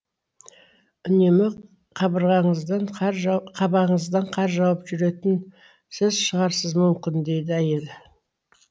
үнемі қабағыңыздан қар жауып жүретін сіз шығарсыз мүмкін дейді әйелі